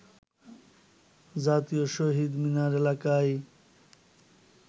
জাতীয় শহিদ মিনার এলাকায়